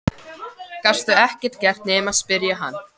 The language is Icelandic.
Gastu ekkert gert nema spyrja hann?